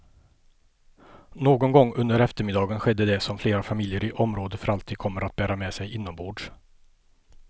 Någon gång under eftermiddagen skedde det som flera familjer i området för alltid kommer att bära med sig inombords.